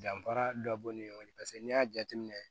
Danfara dɔ b'u ni ɲɔgɔn cɛ paseke n'i y'a jateminɛ